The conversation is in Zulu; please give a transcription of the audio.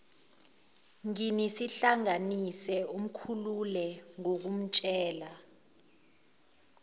nginihlanganise umkhulule ngokumtshela